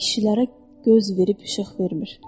Kişilərə göz verib işıq vermir.